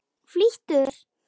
Flýttu þér.